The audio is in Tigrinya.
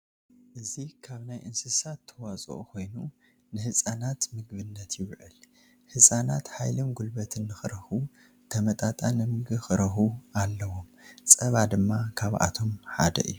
እዚ ካብ ናይ እንስሳት ተዋፅኦ ኮይኑ ንህፃናት ምግብነት ይውዕል፡፡ ህፃናት ሓይሊን ጉልበት ንኽረኽቡ ተመጣጣኒ ምግቢ ክረኽቡ ኣለዎም፡፡ ፀባ ድማ ካብኣቶም ሓደ እዩ፡፡